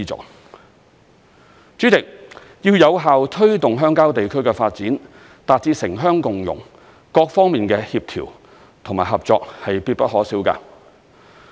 代理主席，要有效推動鄉郊地區的發展，達致城鄉共融，各方面的協調和合作是必不可少的。